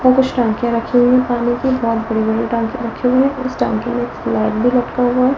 वहां कुछ टंकियां रखी हुई है पानी की बहोत बड़ी-बड़ी टंकी रखी हुई है और इस टंकी में एक फ्लैट भी रखा हुआ है।